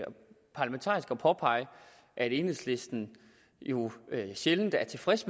påpege at enhedslisten jo sjældent er tilfreds